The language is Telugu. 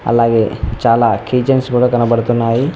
అలాగే చాలా కీ చైన్స్ కూడా కనబడుతున్నాయి.